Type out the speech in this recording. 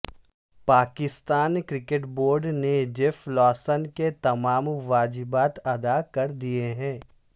Pakistan cricket board نے Geoff Lawson کے تمام واجبات ادا کر دیئے ہیں